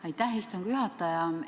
Aitäh, istungi juhataja!